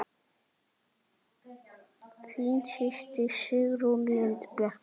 Þín systir, Signý Lind.